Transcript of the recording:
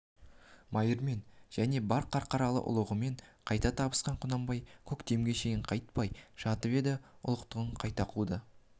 майырмен және бар қарқаралы ұлығымен қайта табысқан құнанбай көктемге шейін қайтпай жатып енді ұлықтығын қайта қуды